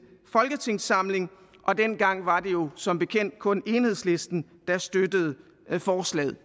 folketingssamling og dengang var det jo som bekendt kun enhedslisten der støttede forslaget